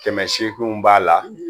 Kɛmɛ sekinw b'a la